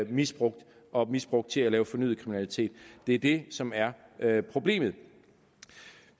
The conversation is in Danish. misbrugt og misbrugt til at lave fornyet kriminalitet det er det som er er problemet